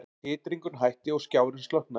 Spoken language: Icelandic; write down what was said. Titringurinn hætti og skjárinn slokknaði.